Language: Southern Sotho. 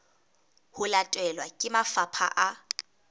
ho latelwa ke mafapha a